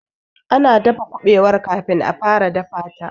ana daka kubewar kafin a fara dafa ta